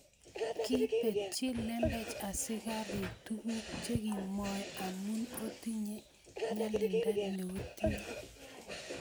kipetchi lembech askarik tukuk chekiomwoi amu otinye nyalinda neotinye